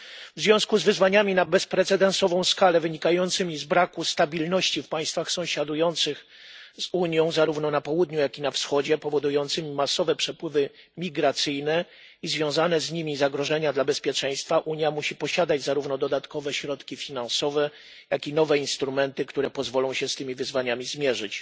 W związku z wyzwaniami na bezprecedensową skalę, wynikającymi z braku stabilności w państwach sąsiadujących z Unią zarówno na południu, jak i na wschodzie, powodującymi masowe przepływy migracyjne i związane z nimi zagrożenia dla bezpieczeństwa, Unia musi posiadać zarówno dodatkowe środki finansowe, jak i nowe instrumenty, które pozwolą się z tymi wyzwaniami zmierzyć.